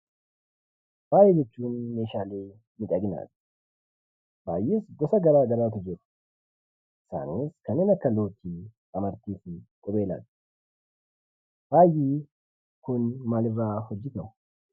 Faaya jechuun meeshaa miidhaginaati. Faayi gosa gara garaatu jira. Faayonni kanneen akka looting, amartii fi qubeelaati. Faayi kun maalirraa hojjetamu?